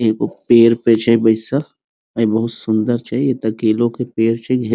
एगो पेड़ पे छै बैसल ए बहुत सूंदर छै एता केलो के पेड़ छै।